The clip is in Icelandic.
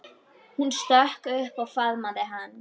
Hún stökk upp og faðmaði hann.